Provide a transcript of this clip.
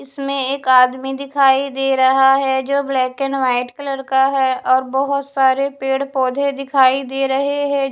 इसमें एक आदमी दिखाई दे रहा है जो ब्लैक एंड व्हाइट कलर का है और बहुत सारे पेड़ पौधे दिखाई दे रहे हैं।